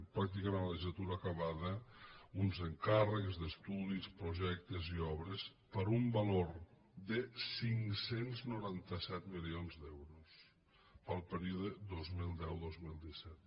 pràcticament amb la legislatura acabada uns encàrrecs d’estudis projectes i obres per un valor de cinc cents i noranta set milions d’euros pel període dos mil deu dos mil disset